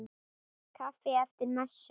Kaffi eftir messu.